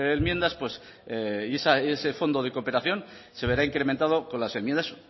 enmiendas y ese fondo de cooperación se verá incrementado con las enmiendas